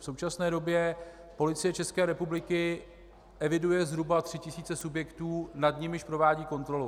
V současné době Policie České republiky eviduje zhruba tři tisíce subjektů, nad nimiž provádí kontrolu.